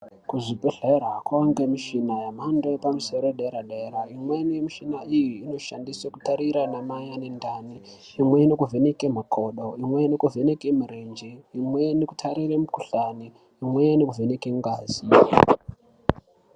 Kuzvibhedhlera kwave ngemichina yemhando yepamusoro yedera dera. Imweni yemishina iyi inoshandiswe kutarire anamai ane ndani , imweni kuvheneke makodo, imweni kuvheneke mirenje, imweni kutarire mukhuhlani, imweni kuvheneke ngazi.